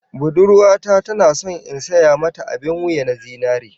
Budurwa ta tana so in saya mata abin wuya na zinare